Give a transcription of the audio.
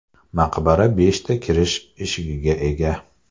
Maqbara beshta kirish eshigiga ega.